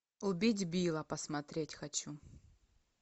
убить билла посмотреть хочу